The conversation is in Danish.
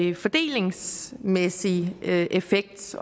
fordelingsmæssig effekt